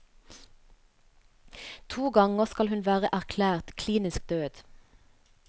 To ganger skal hun være erklært klinisk død.